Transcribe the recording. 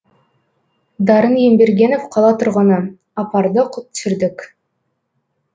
дарын ембергенов қала тұрғыны апардық түсірдік